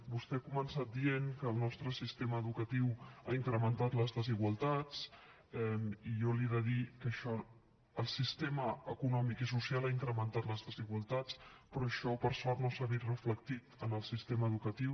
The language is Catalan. vostè ha començat dient que el nostre sistema educatiu ha incrementat les desigualtats i jo li he de dir que el sistema econòmic i social ha incrementat les desigualtats però això per sort no s’ha vist reflectit en el sistema educatiu